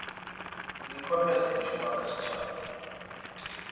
ikhomese i shuma kha tshitshavha